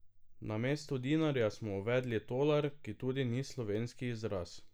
Namesto dinarja smo uvedli tolar, ki tudi ni slovenski izraz.